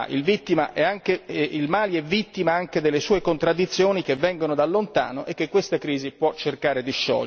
Il Mali è vittima anche delle sue contraddizioni che vengono da lontano e che questa crisi può cercare di sciogliere.